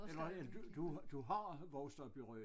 Eller eller du du du har vokset op i Rø